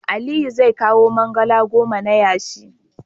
Aliyu zai kawo mangalaa goma na yashi.